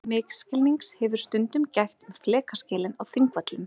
Nokkurs misskilnings hefur stundum gætt um flekaskilin á Þingvöllum.